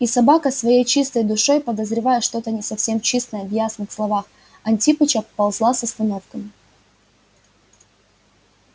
и собака своей чистой душой подозревая что-то не совсем чистое в ясных словах антипыча ползла с остановками